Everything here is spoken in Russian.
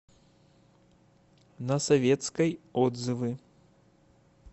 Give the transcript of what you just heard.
на советской отзывы